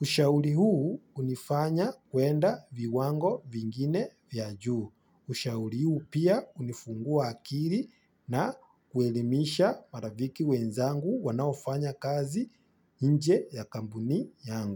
Ushauri huu hunifanya kwenda viwango vingine vya juu. Ushauri huu pia hunifungua akiri na kuelimisha maraviki wenzangu wanaofanya kazi nje ya kampuni yangu.